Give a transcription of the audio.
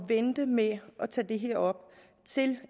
vente med at tage det her op til